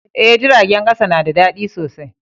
Eh, jiragen kasa na da dadi sosai.